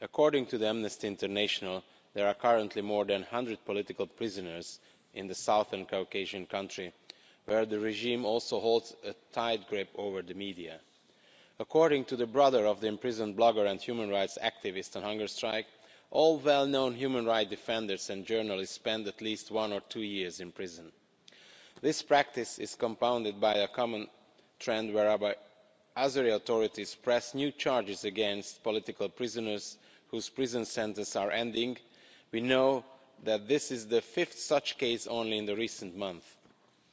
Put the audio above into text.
According to Amnesty International, there are currently more than 100 political prisoners in the Southern Caucasus country, where the regime also holds a tight grip over the media. According to the brother of the imprisoned blogger and human rights activist on hunger strike, all well-known human rights defenders and journalists spend at least one or two years in prison'. This practice is compounded by a common trend whereby Azeri authorities press new charges against political prisoners whose prison sentences are ending. We know that this is the fifth such case in recent months alone.